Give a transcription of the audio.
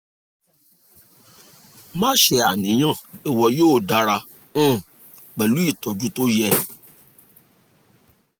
má ṣe àníyàn ìwọ yóò dára um pẹ̀lú ìtọ́jú tó yẹ